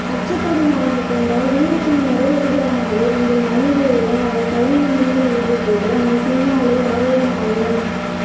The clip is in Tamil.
அச்சப்படும் அவனைக்கண்டால் வீரத்தின் மறுவடிவமாக எங்கள் மண்ணிலே அவன் தலைநிமிர்ந்து நின்றபோது அவன் பின்னாலே ஆயிரம் ஆயிரம்